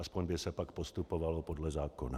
Alespoň by se pak postupovalo podle zákona.